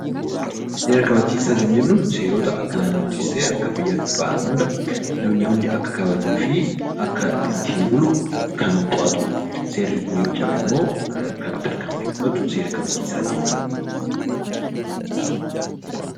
Seera kabachiisaa jechuun seerota Akka biyyaattis ta'ee naannootti bahan hundaa namni hundi Akka kabajuu fi Akka ittiin bulu kan to'atudha. Seerri Kun yoo cabemmoo kan tarkaanfii fudhatu seera kabachiisaa jennaan.